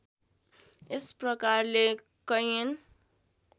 यस प्रकारले कैयन